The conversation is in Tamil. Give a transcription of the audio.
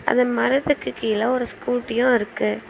அந்த மரத்துக்கு கீழ ஒரு ஸ்கூட்டியு இருக்கு.